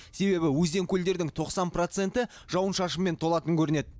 себебі өзен көлдердің тоқсан проценті жауын шашынмен толатын көрінеді